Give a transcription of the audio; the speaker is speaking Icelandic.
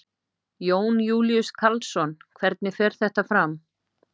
Jón Júlíus Karlsson: Hvernig fer þetta fram?